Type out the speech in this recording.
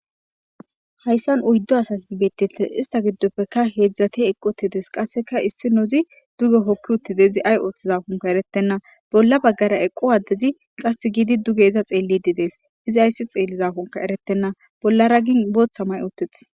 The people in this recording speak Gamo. Haysan oydu asati betes ista gidopeka hezati eqi uttida isinozi duge hoki uttides izi azi othizakonka eretena bolla bagara eqo adezi qasi gidi duge iza xelidi dees. Izzi azi xelizzkonka eretena bollara gin Botha mayi uttides.